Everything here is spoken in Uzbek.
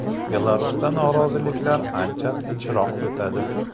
Belarusda noroziliklar ancha tinchroq o‘tadi.